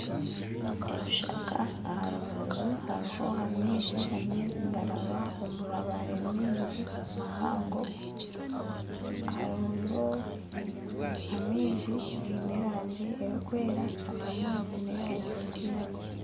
Ebishaka aha rubaju hariho amaizi amaizi nigaraba omumabaare maingi mahango amaizi abamwe gaine erangi erikwera abandi gaine erikwiragura